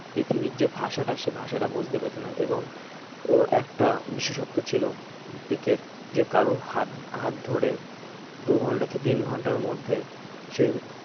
পৃথিবীর যে ভাষাটা সেই ভাষাটা বুঝতে পেত না এবং ওর একটা বিশেষত্ব ছিল পিকের যে কারোর হাত হাত ধরে দু'ঘণ্টা কি তিন ঘন্টার মধ্যে সেই